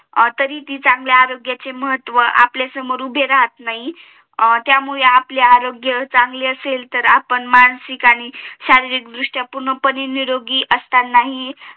तरी ती चांगल्या आरोग्याचे महत्व आपल्या समोर उभे राहत नाही त्यामुळे आपले आरोग्य चांगले असेल तेर आपण मानसिक आणि शारीरिक दृष्ट्या पूर्णपणे निरोगी असताना हि